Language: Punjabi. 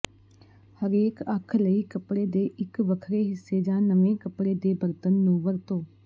ਹਰੇਕ ਅੱਖ ਲਈ ਕੱਪੜੇ ਦੇ ਇੱਕ ਵੱਖਰੇ ਹਿੱਸੇ ਜਾਂ ਨਵੇਂ ਕਪੜੇ ਦੇ ਬਰਤਨ ਨੂੰ ਵਰਤੋ